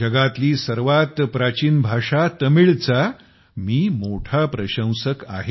जगातली सर्वात प्राचीन भाषा तमिळ चा मी मोठा प्रशंसक आहे